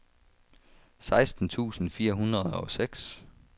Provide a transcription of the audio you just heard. seksten tusind fire hundrede og seks